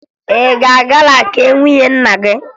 Ị ga-aga na nke nwunye nna gị?